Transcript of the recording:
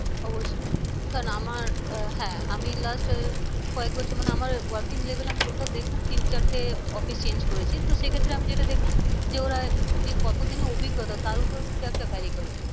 অবশ্যই কারণ আমার আহ হ্যাঁ আমি last কয়েক বছর মানে আমার working level আমি total দেখলাম তিন চারটে office change করেছে তো সে ক্ষেত্রে আমি যেটা দেখলাম। যে ওরা যে কত দিনে অভিজ্ঞতা তার উপরেও কিন্তু একটা vary করে।